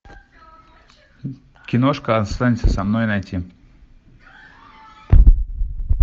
киношка останься со мной найти